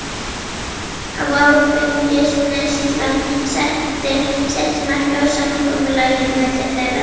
Áfengisneyslan setti sitt mark á samkomulagið milli þeirra.